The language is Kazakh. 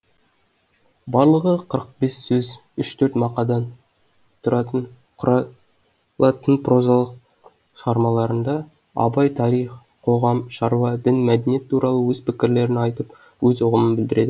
барлығы қырық бес сөз үш төрт мақадан тұратын құралатын прозалық шығармаларында абай тарих қоғам шаруа дін мәдениет туралы өз пікірлерін айтып өз ұғымын білдіреді